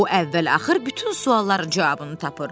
O əvvəl-axır bütün sualların cavabını tapır.